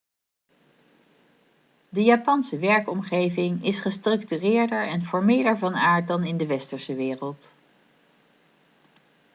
de japanse werkomgeving is gestructureerder en formeler van aard dan in de westerse wereld